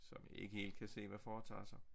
Som ikke helt kan se hvad foretager sig